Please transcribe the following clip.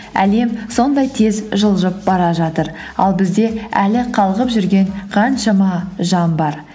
әлем сондай тез жылжып бара жатыр ал бізде әлі қалғып жүрген қаншама жан бар